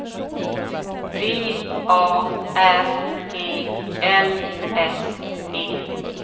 V A R E L S E